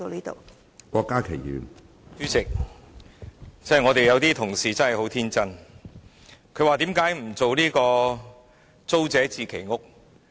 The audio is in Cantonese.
主席，有些同事真的很天真，問為何不推行租者置其屋計劃。